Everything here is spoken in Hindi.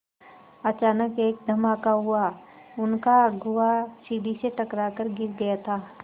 अचानक एक धमाका हुआ उनका अगुआ सीढ़ी से टकरा कर गिर गया था